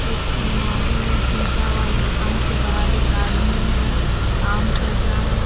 एक अलमारी है शीशा वाला दुकान के बाहर एक आदमी है काम कर रहा है।